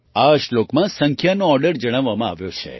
આ શ્લોકમાં સંખ્યાનો ઑર્ડર જણાવવામાં આવ્યો છે